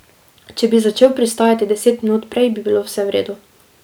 Če bi začel pristajati deset minut prej, bi bilo vse v redu.